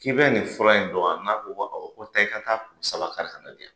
K'i bɛ nin fura in dɔn wa taa i ka taa kuru saba kari ka na diya.